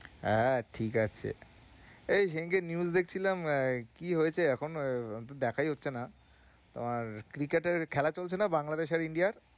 হ্যাঁ, ঠিক আছে এই সেদিনকে news দেখছিলাম আহ কি হয়েছে এখন আহ আমার তো দেখাই হচ্ছে না তোমার cricket এর খেলা চলছে না বাংলাদেশ আর India র?